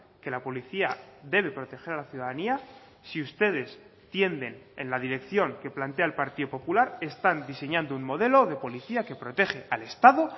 que la policía debe proteger a la ciudadanía si ustedes tienden en la dirección que plantea el partido popular están diseñando un modelo de policía que protege al estado